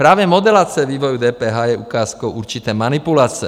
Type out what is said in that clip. Právě modelace vývoje DPH je ukázkou určité manipulace.